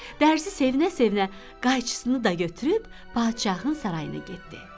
Dərzisi sevinə-sevinə qayçısını da götürüb padşahın sarayına getdi.